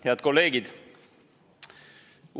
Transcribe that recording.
Head kolleegid!